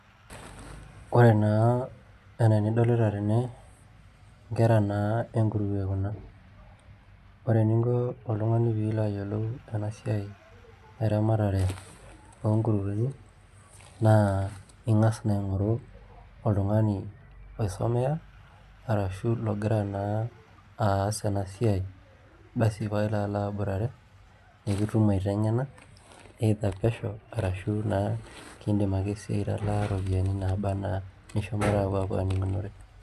Ore naa enaa enidolita tene inkera naa enkuruwe kuna ore eninko oltung'ani pee ilo ayielou ena siai eramatare oonkuruweni naa ing'as naa aing'oru oltung'ani oisomea arashu logira naa aas ena siai basi paa ilo aiboitare nikitum aiteng'ena [ccs]either pesho arashu naa kiidim ake sii aitalaa iropiyiani naaba enaa nishomoita apua aning'unore.